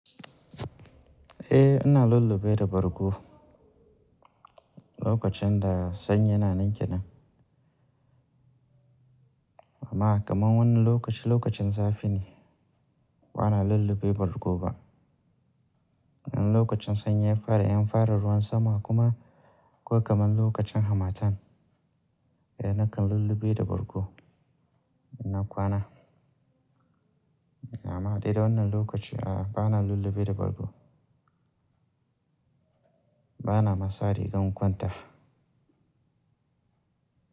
Eh, ana lullube da bargo lokacin da sanyi yana ni kenan. Amma kamar wannan lokaci, lokacin zafi ne, bana lullube bargo ba. Lokacin sanyi ya fara, in fara ruwan sama kuma ko kamar lokacin hamatan, eh nakan lullube da bargo na kwana. Amma dai da wannan lokaci a'a, ba na lullube da bargo. Ba na ma sa rigan kwanta.